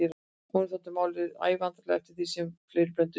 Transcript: Honum þótti málið æ vandræðalegra eftir því sem fleiri blönduðu sér í það.